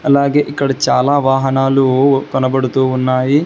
అలాగే ఇక్కడ చాలా వాహనాలు కనబడుతూ ఉన్నాయి.